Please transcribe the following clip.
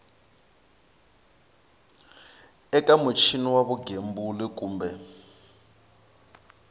eka muchini wa vugembuli kumbe